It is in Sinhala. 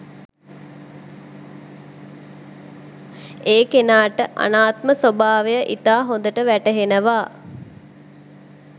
ඒ කෙනාට අනාත්ම ස්වභාවය ඉතා හොඳට වැටහෙනවා.